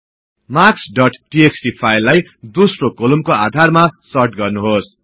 marks dot TXT फाईललाई दोस्रो कोलुम्नको आधारमा सर्ट गर्नुहोस्